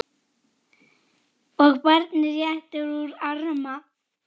og barnið réttir út arma